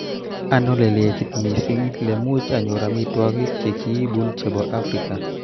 Ano lelekit mising' lemuch anyor amitwogik chekiibun chebo Afrika